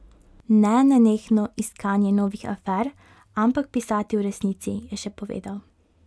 Ne nenehno iskanje novih afer, ampak pisati o resnici, je še povedal.